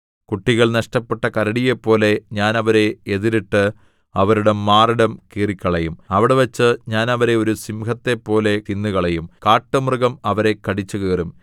കുട്ടികൾ നഷ്ടപ്പെട്ട കരടിയെപ്പോലെ ഞാൻ അവരെ എതിരിട്ട് അവരുടെ മാറിടം കീറിക്കളയും അവിടെവച്ച് ഞാൻ അവരെ ഒരു സിംഹത്തെപ്പോലെ തിന്നുകളയും കാട്ടുമൃഗം അവരെ കടിച്ചുകീറും